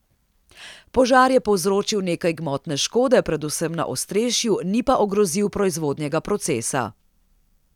Požar je povzročil nekaj gmotne škode, predvsem na ostrešju, ni pa ogrozil proizvodnega procesa.